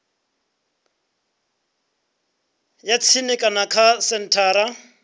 ya tsini kana kha senthara